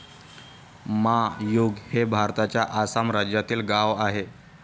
मा यूंग हे भारताच्या आसाम राज्यातील गाव आहे